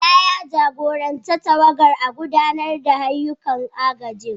Bala, ya jagoranci tawagar a gudanar da ayyukan agajin.